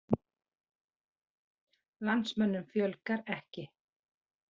Landsmönnum fjölgar ekki